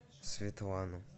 светлану